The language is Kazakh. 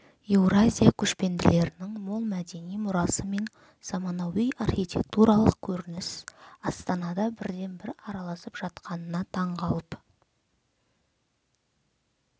еуразия көшпенділерінің мол мәдени мұрасы мен замануи архитектуралық көрініс астанада бірден-бір аралысып жатқанына таң қалып